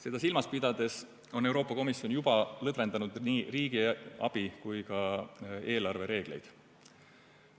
Seda silmas pidades on Euroopa Komisjon juba lõdvendanud nii riigiabi- kui ka eelarvereegleid.